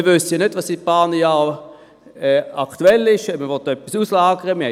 Zudem wissen wir ja nicht, was in einigen Jahren aktuell sein wird, ob man etwas auslagern will.